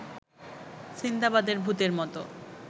সিন্দাবাদের ভূতের মতো